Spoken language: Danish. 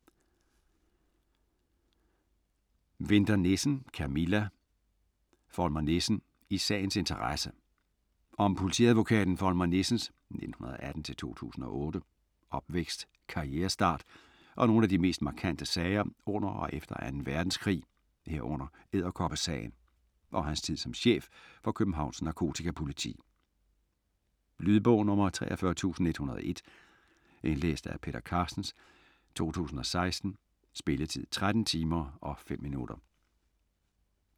Winther Nissen, Camilla: Volmer Nissen - i sagens interesse Om politiadvokaten Volmer Nissens (1918-2008) opvækst, karrierestart og nogle af de mest markante sager under og efter 2. verdenskrig, herunder "Edderkoppesagen" og hans tid som chef for Københavns Narkotikapoliti. Lydbog 43101 Indlæst af Peter Carstens, 2016. Spilletid: 13 timer, 5 minutter.